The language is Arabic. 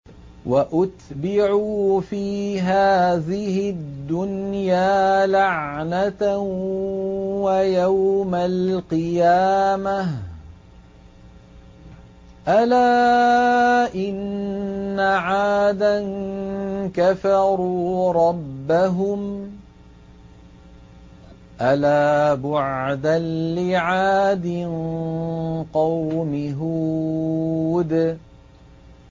وَأُتْبِعُوا فِي هَٰذِهِ الدُّنْيَا لَعْنَةً وَيَوْمَ الْقِيَامَةِ ۗ أَلَا إِنَّ عَادًا كَفَرُوا رَبَّهُمْ ۗ أَلَا بُعْدًا لِّعَادٍ قَوْمِ هُودٍ